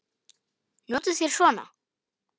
Notið þér svona?